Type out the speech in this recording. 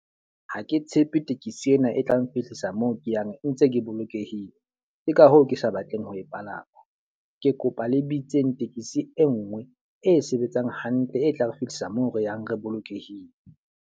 Ha ke tshepe tekesi ena e tla nfihlisa moo ke yang ntse ke bolokehile. Ke ka hoo ke sa batleng ho e palama. Ke kopa le bitseng tekesi e nngwe, e sebetsang hantle. E tla re fihlisa moo re yang re bolokehile.